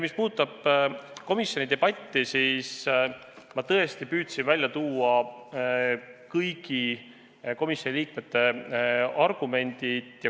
Mis puudutab komisjoni debatti, siis ma tõesti püüdsin välja tuua kõigi komisjoni liikmete argumendid.